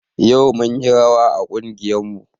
Yau munyi rawa a ƙungiyar mu